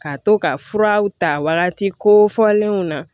Ka to ka furaw ta wagati kofɔlenw na